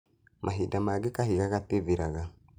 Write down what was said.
Mahinda mangĩ kahiga gatithiraga.